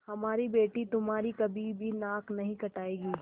हमारी बेटी तुम्हारी कभी भी नाक नहीं कटायेगी